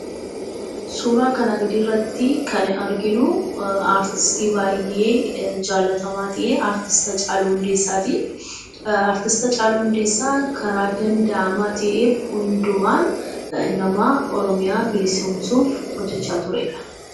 Suuraa kana gadiirratti kan arginuu, artistii baayyee jaallatamaa ta'e artiist Haachaluu Hundeessaatii. Artiist Haachaluu hundeessaan karaa danda'amaa ta'e hundumaan nama Oromiyaa bilisomsuuf hojjachaa turedha.